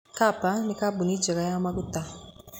Kapa nĩ kambuni njega ya maguta.